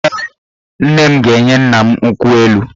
Ee, nne m ga-enye nna m nkwụ elu